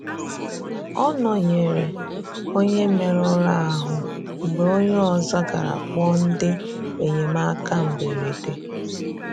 Ọ nọ̀nyerè onye mèruru ahú mgbe onye ọzọ garà kpọọ ndị enyemáka mberede.